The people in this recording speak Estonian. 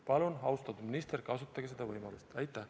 Palun, austatud minister, kasutage seda võimalust!